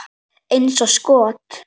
Eins og skot!